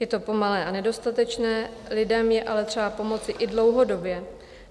Je to pomalé a nedostatečné, lidem je ale třeba pomoci i dlouhodobě.